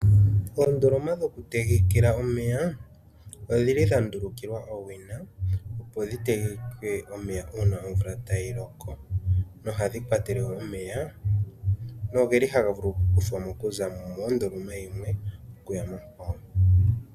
Oondoloma dhokutegekela omeya odhili dha ndulukiwa owina opo dhi tegeke omeya uuna omvula tayi loko. Ohadhi kwatelwa omeya nohaga vulu oku kuthwa mo okuza mondoloma yimwe okuya monkwawo.